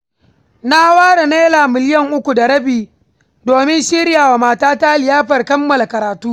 Na ware Naira miliyan uku da rabi, domin shirya wa matata liyafar kammala karatu.